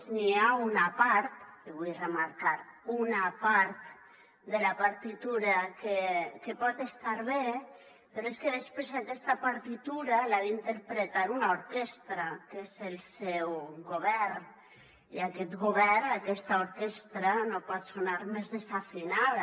n’hi ha una part i ho vull remarcar una part de la partitura que pot estar bé però és que després aquesta partitura l’ha d’interpretar una orquestra que és el seu govern i aquest govern aquesta orquestra no pot sonar més desafinada